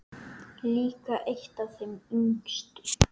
Líka eitt af þeim yngstu.